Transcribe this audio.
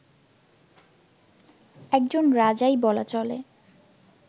একজন রাজাই বলা চলে